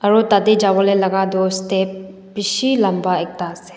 aro tadae jabolae laka toh step bishi lampa ekta asae.